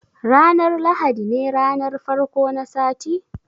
Ranar lahadi ne ranar farko na sati?